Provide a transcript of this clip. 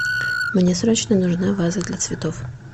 мне срочно нужна ваза для цветов